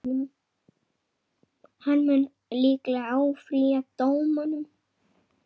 Hann mun líklega áfrýja dómnum.